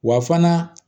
Wa fana